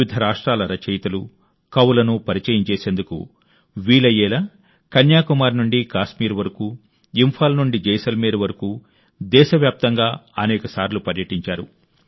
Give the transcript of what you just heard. వివిధ రాష్ట్రాల రచయితలు కవులను ఇంటర్వ్యూ చేసేందుకు వీలయ్యేలా కన్యాకుమారి నుండి కాశ్మీర్ వరకు ఇంఫాల్ నుండి జైసల్మేర్ వరకు దేశవ్యాప్తంగా అనేక సార్లు పర్యటించారు